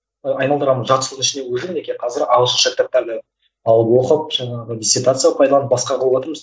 ы айналдырған жарты жылдың ішінде уже мінекей қазір ағылшынша кітаптарды алып оқып жаңағы дессертацияға пайдаланып басқа қылыватырмыз